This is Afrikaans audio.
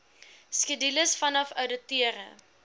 skedules vanaf ouditeure